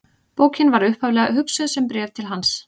Bókin var upphaflega hugsuð sem bréf til hans.